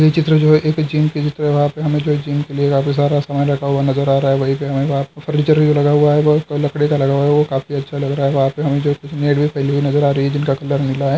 ये चित्र जो है एक जिम सारा सामान रखा हुआ नजर आ रहा है वही पर हमे बाहर फर्नीचर भी लगा हुआ है लकड़ी का लगा हुआ है वो काफी अच्छा लग रहा है वहां पे हमे जो मैट भी फैली नजर आ रही है जिनका कलर नीला है।